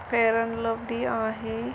Fair and Lovely आहे.